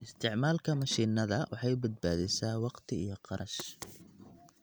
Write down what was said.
Isticmaalka mashiinada waxay badbaadisaa waqti iyo kharash.